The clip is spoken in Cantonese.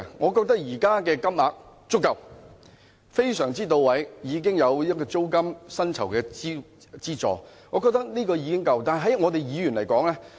我覺得現時的金額已經足夠，非常到位，加上租金等各方面的資助，我覺得已經足夠。